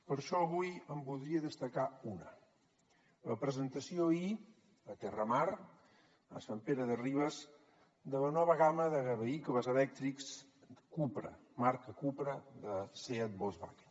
per això avui en voldria destacar una la presentació ahir a terramar a sant pere de ribes de la nova gamma de vehicles elèctrics cupra marca cupra de seat volkswagen